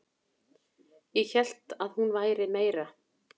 Ég hélt að hún væri meira